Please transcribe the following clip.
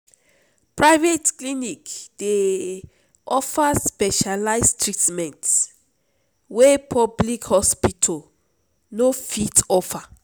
private clinic dey offer specialize treatment wey public hospital no fit offer.